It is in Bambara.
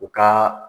U ka